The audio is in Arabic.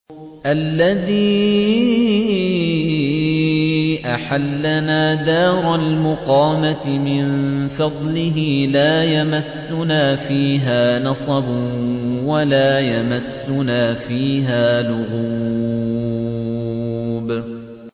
الَّذِي أَحَلَّنَا دَارَ الْمُقَامَةِ مِن فَضْلِهِ لَا يَمَسُّنَا فِيهَا نَصَبٌ وَلَا يَمَسُّنَا فِيهَا لُغُوبٌ